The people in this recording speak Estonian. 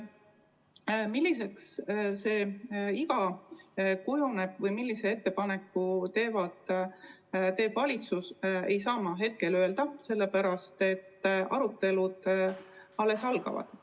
Seda, milliseks see iga kujuneb või millise ettepaneku teeb valitsus, ei saa ma hetkel öelda, sellepärast et arutelud alles algavad.